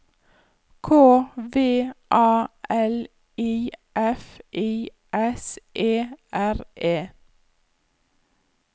K V A L I F I S E R E